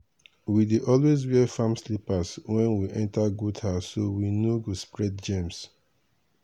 we dey always wear farm slippers when we enter goat house so we no go spread germ.